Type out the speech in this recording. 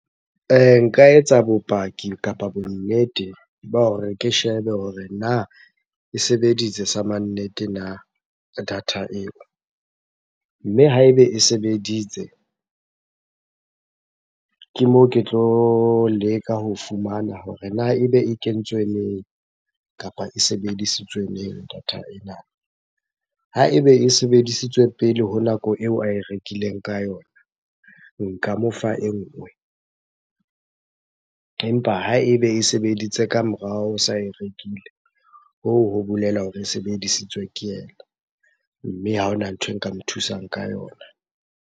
Nka etsa bopaki kapa bonnete ba hore ke shebe hore na e sebeditse sa mannete na data eo? Mme ha ebe e sebeditse, ke moo ke tlo leka ho fumana hore na ebe e kentswe neng kapa e sebedisitswe neng data ena? Ha ebe e sebedisitswe pele ho nako eo ae rekileng ka yona, nka mo fa e nngwe. Empa ha ebe e sebeditse ka morao o sa e rekile, hoo ho bolela hore e sebedisitswe ke yena. Mme ha hona nthwe nka mo thusang ka yona.